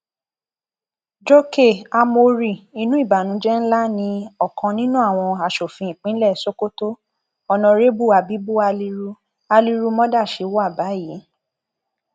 jókè ámórì inú ìbànújẹ ńlá ni ọkan nínú àwọn asòfin ìpínlẹ sokoto oǹórébù abibu haliru haliru modáchchi wà báyìí